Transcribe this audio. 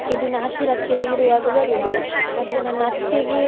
ದಿನ ಹತ್ತಿರ ಹತ್ತಿರ ಇರ್ವಗ ಬರುದು, ಮತ್ತೆ ನನ್ನಅತ್ತೆಗೆ.